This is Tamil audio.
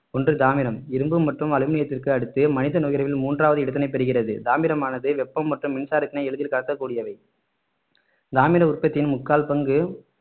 ஒன்று தாமிரம் இரும்பு மற்றும் அலுமினியத்திற்கு அடுத்து மனித நுகர்வில் மூன்றாவது இடத்தினை பெறுகிறது தாமிரமானது வெப்பம் மற்றும் மின்சாரத்தினை எளிதில் கடத்தக்கூடியவை தாமிர உற்பத்தியின் முக்கால் பங்கு